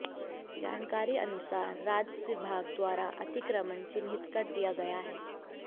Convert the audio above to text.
जानकारी अनुसार राजस्व विभाग द्वारा अतिक्रमण चिन्हित कर दिया गया है